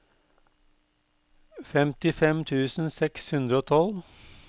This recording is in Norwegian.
femtifem tusen seks hundre og tolv